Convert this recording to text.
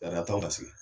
Ladatɔ ka sigi